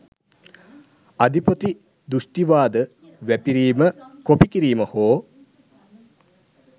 අධිපති දෘෂ්ටිවාද වැපිරීම කොපි කිරීම හෝ